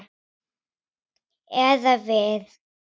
Eða við.